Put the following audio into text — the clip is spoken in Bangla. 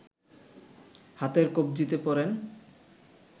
হাতের কব্জিতে পরেন